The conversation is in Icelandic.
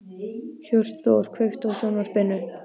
Hjörtþór, kveiktu á sjónvarpinu.